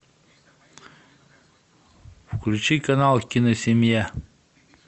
включи канал киносемья